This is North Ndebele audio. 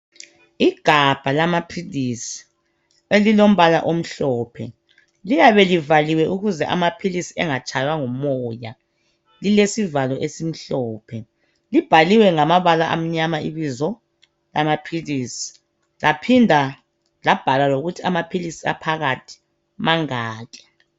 Igabha lamaphilisi elilombala omhlophe. Liyabe livaliwe ukuze amaphilisi engatshaywa ngumoya. Lilesivalo esimhlophe. Libhaliwe ngamabala amnyama ibizo lamaphilisi, laphinda labhalwa lokuthi amaphilisi aphakathi mangaki.